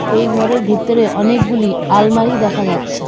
এই ঘরের ভিতরে অনেকগুলি আলমারি দেখা যাচ্ছে।